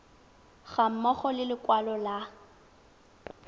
ga mmogo le lekwalo la